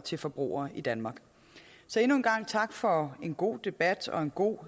til forbrugere i danmark så endnu en gang tak for en god debat og en god